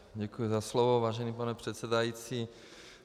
Děkuji za slovo, vážený pane předsedající.